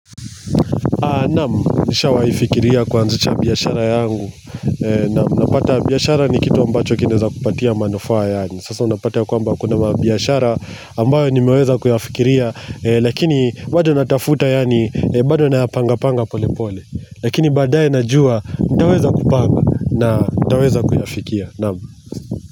Nam, nishawahi fikiria kuanzisha biashara yangu, nam, napata biashara ni kitu ambacho kinaweza kupatia manufaa yaani, sasa unapata kwamba kuna mabiashara ambayo nimeweza kuyafikiria, lakini bado natafuta yaani, bado na panga panga pole pole, lakini baadaye najua, nitaweza kupanga na nitaweza kuyafikia, nam.